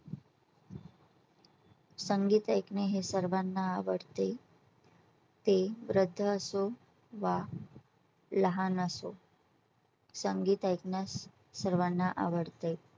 संगीत ऐकणे हे सर्वांना आवडते ते वृद्ध असो वा लहान असो. संगीत ऐकण्यास सर्वांना आवडते.